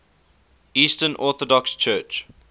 eastern orthodox church